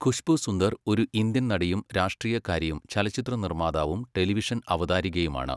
ഖുശ്ബു സുന്ദർ ഒരു ഇന്ത്യൻ നടിയും രാഷ്ട്രീയക്കാരിയും ചലച്ചിത്ര നിർമ്മാതാവും ടെലിവിഷൻ അവതാരകയുമാണ്.